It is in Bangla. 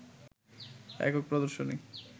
একক প্রদর্শনী